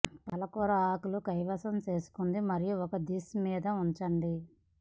పాలకూర ఆకులు కైవసం చేసుకుంది మరియు ఒక డిష్ మీద ఉంచండి